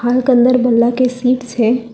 के अंदर बल्ला के सीट्स हैं।